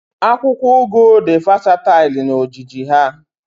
Akwụkwọ ugu di vasatail na ojiji ha